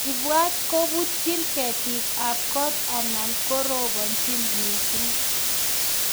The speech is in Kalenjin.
Ipwat koputchin ketik ap kot anan koroponchin missing.